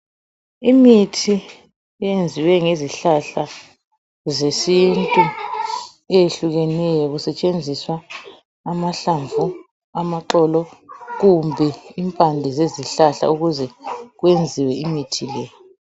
Imithi eyenziwe ngezihlahla zesintu eyehlukeneyo kusetshenziswa amahlamvu lamaxolp kumbe impande zezihlahla ukuze kwenziwe imithi le.